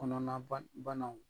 Kɔnɔnaba banaw